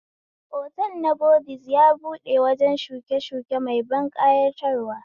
Otal na bodiz ya buɗe wajen shukeshuke mai ban ƙayatarwa